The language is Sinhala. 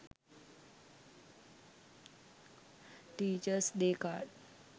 teachers day card